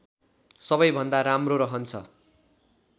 सबै भन्दा राम्रो रहन्छ